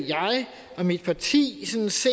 og mit parti synes